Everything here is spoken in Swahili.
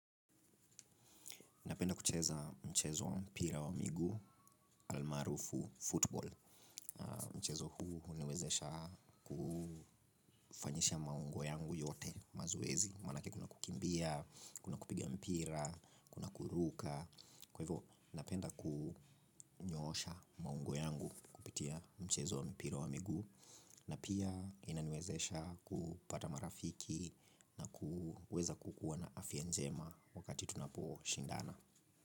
Napenda kucheza mchezo wa mpira wa miguu almarufu football. Mchezo huu huniwezesha kufanyisha maungo yangu yote mazoezi. Manake kuna kukimbia, kuna kupigia mpira, kuna kuruka. Kwa hivyo, napenda kunyosha maungo yangu kupitia mchezo wa mpira wa miguu. Na pia inaniwezesha kupata marafiki na kuweza kukuwa na afya njema wakati tunapo shindana.